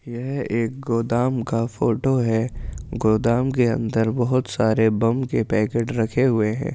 यह एक गोदाम का फोटो है गोदाम के अंदर बहुत सारे बम के पैकेट रखे हुए है।